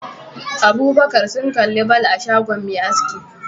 Abubakar sun kalli ball a shagon Me aski